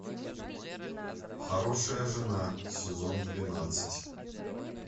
хорошая жена сезон двенадцать